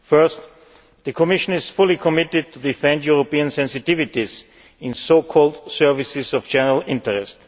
Firstly, the Commission is fully committed to defending European sensitivities on so called services of general interest.